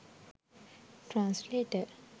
translator